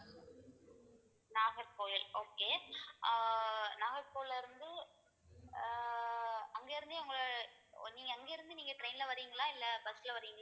Nagercoil okay ஆஹ் நாகர்கோயில் இருந்து ஆஹ் அங்கிருந்தே உங்களை நீங்க அங்கிருந்து நீங்க train ல வர்றீங்களா இல்லை bus ல வர்றீங்களா